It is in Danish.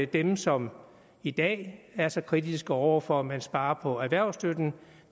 dem som i dag er så kritiske over for at man sparer på erhvervsstøtten